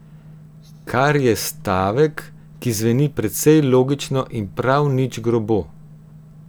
Kar je stavek, ki zveni precej logično in prav nič grobo.